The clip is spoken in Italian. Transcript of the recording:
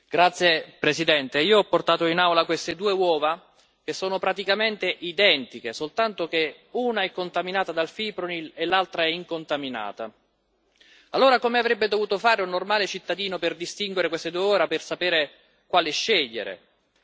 Signor Presidente, onorevoli colleghi, io ho portato in Aula queste due uova, che sono praticamente identiche soltanto che una è contaminata dal fipronil e l'altra è incontaminata. Allora, come avrebbe potuto fare un normale cittadino per distinguere queste due uova, per sapere quale scegliere?